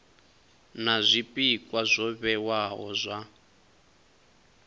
na zwpikwa zwo vhewaho zwa